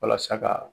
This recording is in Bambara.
Walasa ka